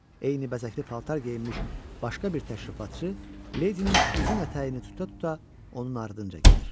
Eyni bəzəkli paltar geyinmiş başqa bir təşrifatçı ledinin uzun ətəyini tuta-tuta onun ardınca gəlir.